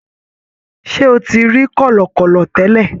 Ṣe o ti ri kọlọkọlọ tẹlẹ?